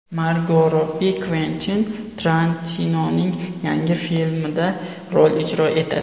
Margo Robbi Kventin Tarantinoning yangi filmida rol ijro etadi.